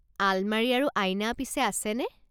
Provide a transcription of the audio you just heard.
আলমাৰি আৰু আইনা পিছে আছেনে?